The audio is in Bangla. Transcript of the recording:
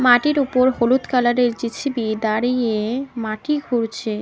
মাটির উপর হলুদ কালারের জে_সি_বি দাঁড়িয়ে মাটি ঘুরছে।